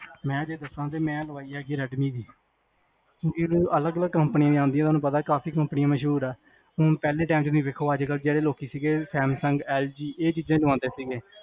ਮੈ ਜੇ ਦਸਾਂ ਤਾਂ ਮੈਂ ਲਗਵਾਈ ਹੈ ਰੇਡਮੀ ਦੀ ਅਲੱਗ ਅਲੱਗ ਕੰਪਨੀ ਆਉਂਦੀਆਂ ਹੁਣ ਤੁਹਾਨੂੰ ਪਤਾ ਵੀ ਕਾਫੀ ਕੰਪਨੀ ਮਸ਼ਹੂਰ ਆ ਹੁਣ ਪਹਿਲੇ time ਚ ਵੇਖੋ ਅਜਕਲ ਲੋਕੀ ਸੈਮਸੰਗ ਐੱਲ ਜੀ ਇਹ ਚੀਜ਼ਾਂ ਈ ਲਵਾਂਦੇ ਸੀਗੇ